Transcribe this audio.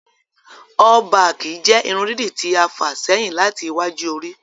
All-baaki jẹ́ ìrun dìídí ti a fa sẹhin lati ìwạju orì.